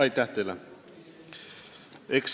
Aitäh teile!